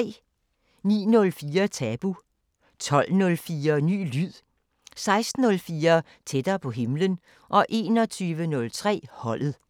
09:04: Tabu 12:04: Ny lyd 16:04: Tættere på himlen 21:03: Holdet